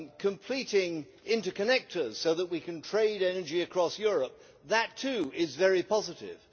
completing interconnectors so that we can trade energy across Europe that too is very positive.